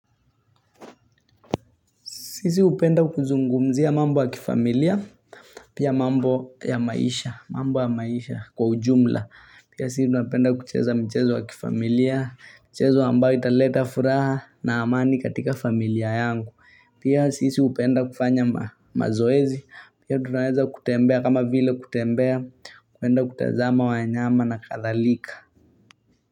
Sisi hupenda kuzungumzia mambo wa kifamilia, pia mambo ya maisha, mambo ya maisha kwa ujumla. Pia sisi tunapenda kucheza mchezo wa kifamilia, mchezo ambayo italeta furaha na amani katika familia yangu. Pia sisi upenda kufanya mazoezi, pia tunaweza kutembea kama vile kutembea, kwenda kutazama wa nyama na kadhalika.